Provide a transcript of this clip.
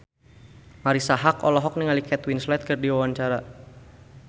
Marisa Haque olohok ningali Kate Winslet keur diwawancara